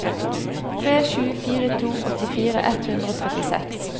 tre sju fire to åttifire ett hundre og trettiseks